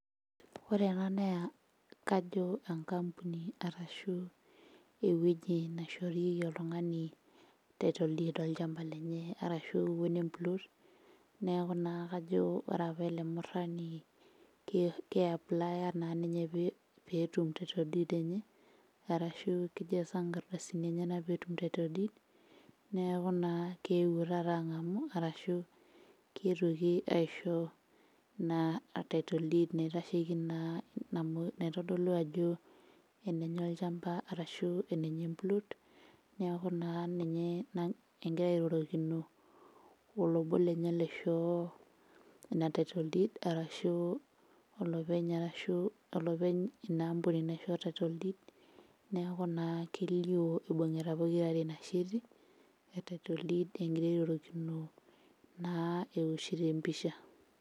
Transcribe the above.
Ore ena neya kajo enkampuni arashu ewueji naishorieki oltung'ani title deed olchamba lenye arashu iun emplot neku naa kajo ore apa ele murrani ki keiaplaya naa ninye petum title deed enye arashu kijasa inkardasini enyenak peetum title deed neku naa keewuo taata ang'amu arashu ketuoki aisho ina title deed naitasheki naa namo naitodolu ajo enenye olchamba arashu eneye emplot neaku ninye na engira airorokino olobo lenye leshoo eina title deed arashu olopeny arashu olopeny ina ampuni naishoo title deed[cs neku naa kelio ibung'ita pokirare ina sheti e title deed engira airorokino naa ewoshito empisha.